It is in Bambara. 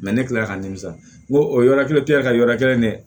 ne kila la ka nimisa n ko o yɔrɔ kelen tɛ ka yɔrɔ kelen dɛ